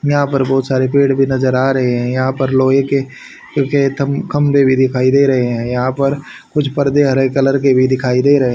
यहां पर बहोत सारे पेड़ भी नजर आ रहे हैं यहां पर लोहे के जो कि तम खंबे दिखाई दे रहे है यहां पर कुछ परदे हरे कलर के भी दिखाई दे रहे --